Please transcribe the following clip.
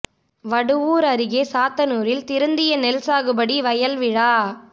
வடுவூர் அருகே சாத்தனூரில் திருந்திய நெல் சாகுபடி வயல் விழா